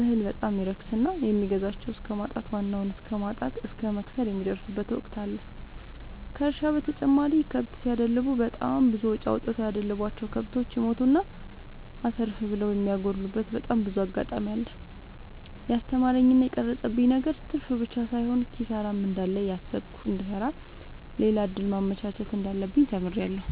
እህል በጣም ይረክስና የሚገዛቸው እስከማጣት ዋናውን እስከማት እስከ መክሰር የሚደርሱበት ወቅት አለ ከእርሻ በተጨማሪ ከብት ሲደልቡ በጣም ብዙ አውጥተው ያደለቡቸው። ከብቶች ይሞቱና አተርፍ ብለው የሚያጎሉበቴ በጣም ብዙ አጋጣሚ አለ። የስተማረኝ እና የቀረፀብኝ ነገር ትርፍብቻ ሳይሆን ኪሳራም እንዳለ እያሰብኩ እንድሰራ ሌላ እድል ማመቻቸት እንዳለብኝ ተምሬበታለሁ።